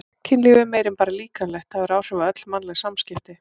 Kynlíf er meira en bara líkamlegt, það hefur áhrif á öll mannleg samskipti.